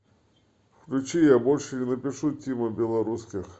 включи я больше не напишу тима белорусских